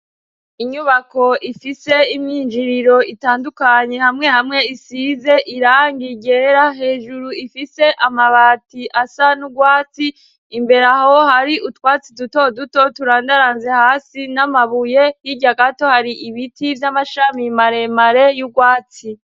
Inyubako ifise imyinjiriro itandukanye hamwe hamwe isize irangi ryera, hejuru ifise amabati asa n'urwatsi, imbere aho hari utwatsi dutoduto turandaranze hasi n'amabuye, hirya gato hari ibiti vy'amashami maremare y'urwatsi.